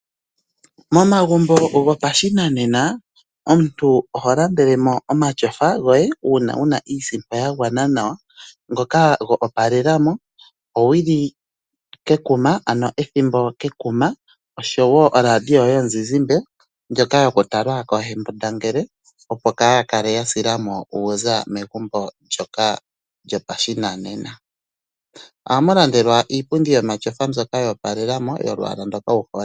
Momagumbo gopashinanena, omuntu oho landelemo omatyofa goye uuna wuna iisimpo ya gwana nawa, ngoka go opalelamo, owili kekuma, oradio yomu zizimbe ndjoka yoku talwa koo hembundangele opo kaa ya hakale ya silamo uuza megumbo ndjoka lyopashinanena. Oha mu landelwa iipundi yomatyofa mbyoka yopalelamo, yolwaala ndoka wuhole.